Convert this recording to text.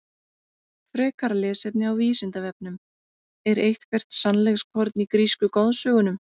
Frekara lesefni á Vísindavefnum: Er eitthvert sannleikskorn í grísku goðsögunum?